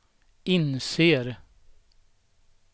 inser